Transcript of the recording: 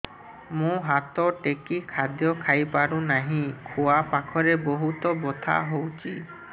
ମୁ ହାତ ଟେକି ଖାଦ୍ୟ ଖାଇପାରୁନାହିଁ ଖୁଆ ପାଖରେ ବହୁତ ବଥା ହଉଚି